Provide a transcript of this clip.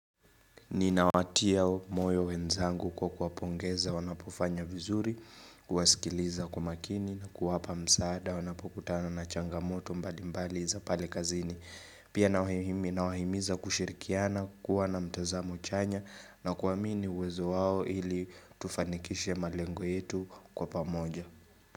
Nina watia moyo wenzangu kwa kuwapongeza wanapofanya vizuri, kuwasikiliza kwa makini na kuwapa msaada wanapokutana na changamoto mbali mbali za pale kazini. Pia nawahimiza kushirikiana kuwa na mtazamo chanya na kuamini uwezo wao ili tufanikishe malengo yetu kwa pamoja.